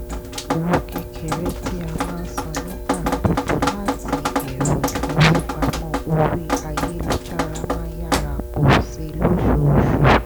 àwọn owó kékeré tí a máa san nígbà gbogbo láti ẹ̀rọ ìfowópamọ́ orí ayélujára máa yára pọ̀ sí i lóṣooṣù